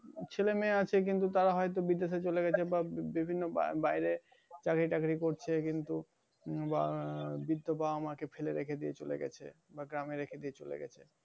ছেলে মেয়ে আছে কিন্তু তারা হয়তো বিদেশে চলে গেছে বা বিভিন্ন বাইরে চাকরি-টাকরি করছে। কিন্তু বা~ বিধবা বাবা-মা কে ফেলে রেখে দিয়ে চলে গেছে বা গ্রামে রেখে দিয়ে চলে গেছে।